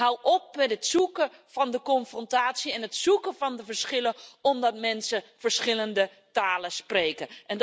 En hou op met het zoeken van de confrontatie en de verschillen omdat mensen verschillende talen spreken.